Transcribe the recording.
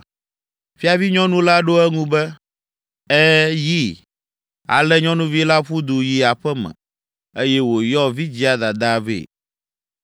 Fiavinyɔnu la ɖo eŋu be, “Ɛ̃, yi!” Ale nyɔnuvi la ƒu du yi aƒe me, eye wòyɔ vidzĩa dadaa vɛ!